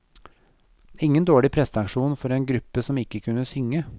Ingen dårlig prestasjon for en gruppe som ikke kunne synge.